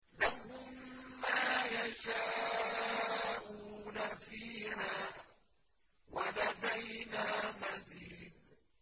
لَهُم مَّا يَشَاءُونَ فِيهَا وَلَدَيْنَا مَزِيدٌ